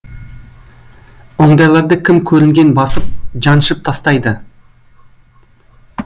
ондайларды кім көрінген басып жаншып тастайды